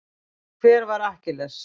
Hver var Akkilles?